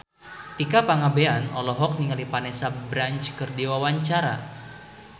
Tika Pangabean olohok ningali Vanessa Branch keur diwawancara